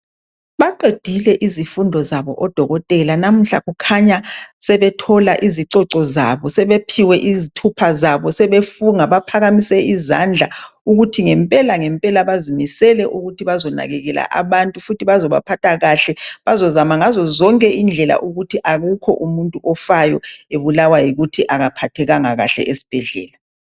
Baqedile izifundo zabo odokotela namuhla kukhanya sebethola izicoco zabo. Sebephiwe izithupha zabo sebefunga baphakamise izandla ukuthi ngempela ngempela bazimisele ukuthi bazonakekela abantu futhi bazobaphatha kahle. Bazozazama ngazo indlela ukuthi akukho umuntu ofayo ebulawa yikuthi akaphathekanga kahle esibhedlela.